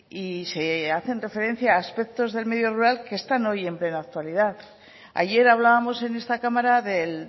y se hacen referencia a aspectos del medio rural que están hoy en plena actualidad ayer hablábamos en esta cámara del